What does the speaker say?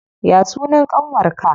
Ya sunan ƙanwar ka?